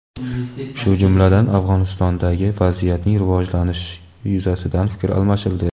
shu jumladan Afg‘onistondagi vaziyatning rivojlanishi yuzasidan fikr almashildi.